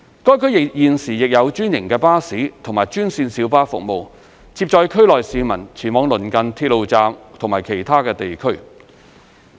該區現時亦有專營巴士和專線小巴服務，接載區內市民前往鄰近鐵路站及其他地區。